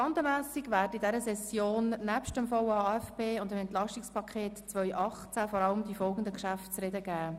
Traktandenmässig werden in dieser Session nebst dem VA/AFP und dem Entlastungspaket (EP) 2018 vor allem folgende Geschäfte zu reden geben: